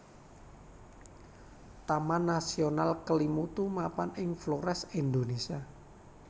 Taman Nasional Kelimutu mapan ing Flores Indonésia